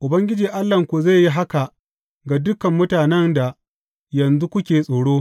Ubangiji Allahnku zai yi haka ga dukan mutanen da yanzu kuke tsoro.